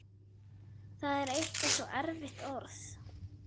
Það er eitthvað svo erfitt orð.